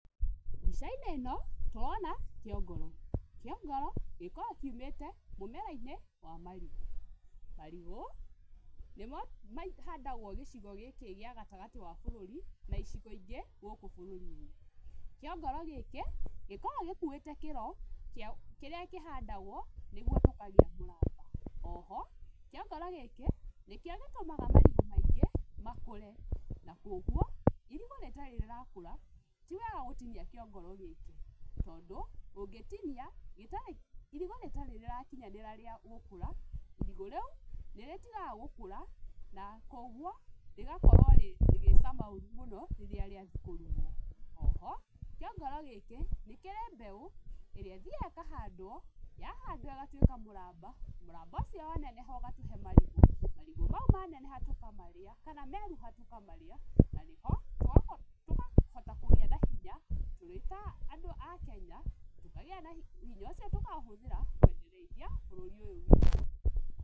Mbica-inĩ ĩno tũrona kĩongoro, kĩongoro gĩkoragwo kiumĩte mũmera-inĩ wa marigũ, marigũ nĩmo mahandagwo gĩcigo gĩkĩ gĩa gatagatĩ wa bũrũri na icigo ingĩ gũkũ bũrũri-inĩ. Kiongoro gĩkĩ gĩkoragwo gĩkuuĩte kĩro kĩrĩa kĩhandagwo nĩguo tũkagĩa mũramba, oho kiongoro gĩkĩ nĩkĩo gĩtũmaga marigũ maingĩ makũre na koguo irigũ rĩtarĩ rĩrakũra tiwega gũtinia kĩongoro gĩkĩ tondũ ũngĩtinia irigũ rĩtarĩ rĩrakinyanĩra rĩa gũkũra irigũ rĩu nĩrĩtigaga gũkũra na koguo rĩgakorwo rĩgĩcama ũũru mũno rĩrĩa rĩathiĩ kũrugwo, oho kĩongoro gĩkĩ nĩ kĩrĩ mbeũ ĩrĩa ĩthiaga ĩkahandwo yahandwo ĩgatuĩka mũramba, mũramba ũcio waneneha ũgatũhe marigũ, marigũ mau maneneha tũkamarĩa kana meruha tũkamarĩa na nĩho tũkahota kũgĩa na hinya tũrĩ ta andũ a Kenya, hinya ũcio tukaũhũthĩra kwendereithia bũrũri ũyũ witũ.